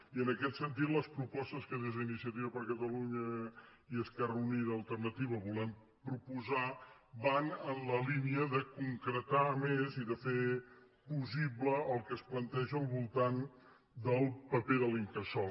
i en aquest sentit les propostes que des d’iniciativa per catalunya · esquerra unida i alternativa volem pro·posar van en la línia de concretar més i de fer possible el que es planteja al voltant del paper de l’incasòl